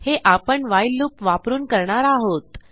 हे आपण व्हाईल loopवापरून करणार आहोत